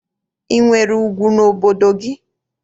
I nwere ugwu n'obodo gị?